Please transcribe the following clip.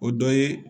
O dɔ ye